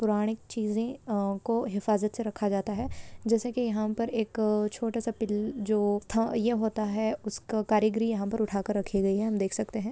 पुराणिक चीज़े अ को इफाजतसे रखा जाता है जैसे की यह पर एक छोटा सा पिल जो था ये होता है उसका कारीगरी यहा पर उठा कर रखे गए है हम देख सकते है।